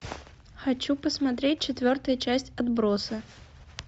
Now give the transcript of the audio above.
хочу посмотреть четвертую часть отбросы